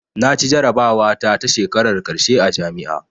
Naci jarabawa ta ta shekarar ƙarshe a jami'a